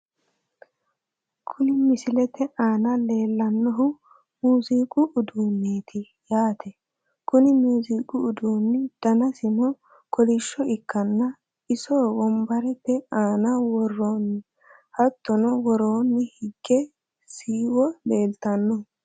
Kuni misilete aana leellannohu muuziiqu uduunneeti yaate, kuni muuziiqu uduunni danasino kolishsho ikkanna ,isono wombarete aana worroonni. hattono woroonni higge shiwo leeltanno.